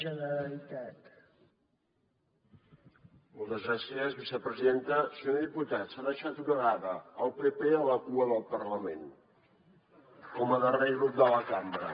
senyor diputat s’ha deixat una dada el pp a la cua del parlament com a darrer grup de la cambra